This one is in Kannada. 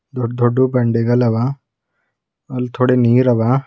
ದೊಡ್ ದೊಡ್ಡು ಬಂಡೆಗಳವ ಅಲ್ ಥೊಡೆ ನೀರ್ ಅವ.